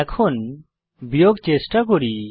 এখন বিয়োগ চেষ্টা করি